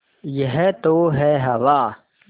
यह तो है हवा